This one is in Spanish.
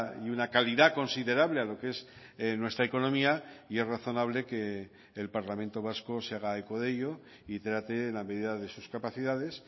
y una calidad considerable a lo que es nuestra economía y es razonable que el parlamento vasco se haga eco de ello y trate en la medida de sus capacidades